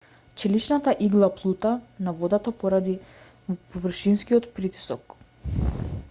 челичната игла плута на водата поради површинскиот притисок